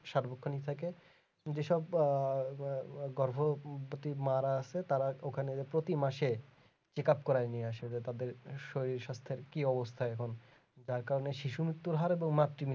সর্বখানি থেকে যে সব আহ গগর্ভবতী মারা আসে তারা ওখানে গিয়ে প্রতি মাসে check up করায় নিয়ে আসে যে তাদের শরীর স্বাস্থ্যের কি অবস্থা এখন যার কারণে শিশু মৃত্যুর হার ও মাতৃ মৃত্যুর হার